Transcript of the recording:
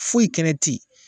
Foyi kɛnɛ te yen